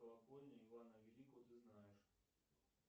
колокольня ивана великого ты знаешь